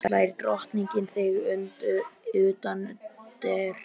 Því þá slær drottning þig utanundir.